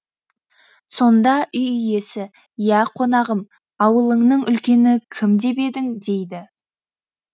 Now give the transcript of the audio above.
сонда үй иесі ия қонағым ауылыңның үлкені кім деп едің дейді